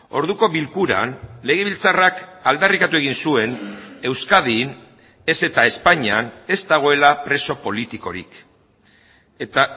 orduko bilkuran legebiltzarrak aldarrikatu egin zuen euskadin ez eta espainian ez dagoela preso politikorik eta